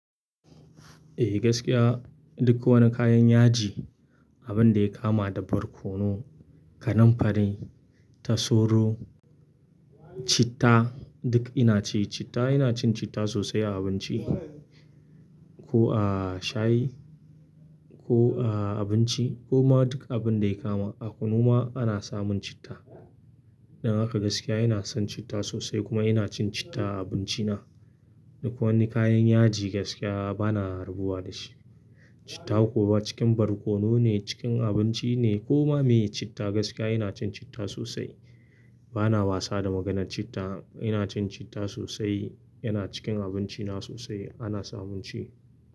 Eh gaskiya duk wani kayan yaji, abun da ya kama da barkono, kananfari, tasoro, citta duk ina ci. Citta ina cin citta sosai a abinci ko a shayi ko a abinci ko ma duk abun da ya kama. A kunu ma ana samun citta. Dan haka gaskiya ina son citta sosai kuma ina cin citta a abinci na. Duk wani kayan yaji gaskiya bana rabuwa da shi. Citta kuwa cikin barkono ne, cikin abinci ne ko ma me citta gaskiya ina cin citta sosai. Bana wasa da maganar citta, ina cin citta sosai, yana cikin abinci na sosai ana samun shi.